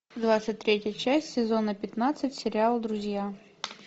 двадцать третья часть сезона пятнадцать сериала друзья